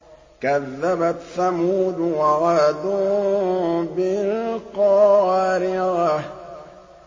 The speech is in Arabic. كَذَّبَتْ ثَمُودُ وَعَادٌ بِالْقَارِعَةِ